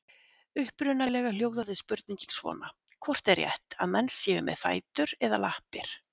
Upprunalega hljóðaði spurningin svona: Hvort er rétt, að menn séu með fætur eða lappir?